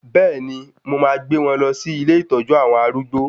Bẹ́ẹ̀ni, mo máa gbé wọn lọ sí ilé ìtọ́jú àwọn arúgbó